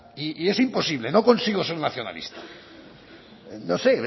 y es imposible no consigue ser nacionalista no sé